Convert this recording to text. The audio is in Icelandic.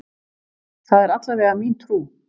Það er allavega mín trú.